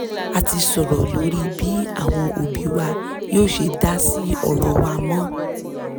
a ti sọ̀rọ̀ lórí bí àwọn òbí wa yóò ṣe dásí ọ̀rọ̀ wa mọ